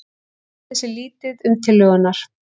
Tjáðu sig lítið um tillögurnar